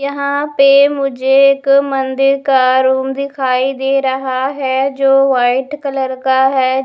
यहाँ पे मुझे एक मंदिर का रूम दिखाई दे रहा है जो वाइट कलर का है।